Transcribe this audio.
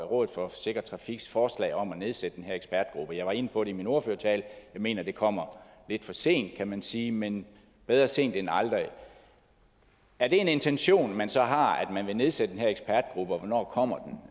rådet for sikker trafiks forslag om at nedsætte den her ekspertgruppe jeg var inde på det i min ordførertale jeg mener det kommer lidt for sent kan man sige men bedre sent end aldrig er det en intention man så har at man vil nedsætte den her ekspertgruppe og hvornår kommer